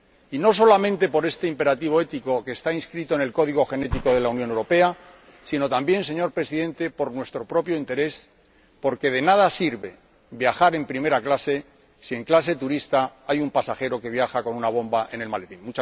Y no solamente por este imperativo ético que está inscrito en el código genético de la Unión Europea, sino también, señor Presidente, por nuestro propio interés porque de nada sirve viajar en primera clase si en clase turista hay un pasajero que viaja con una bomba en el maletín.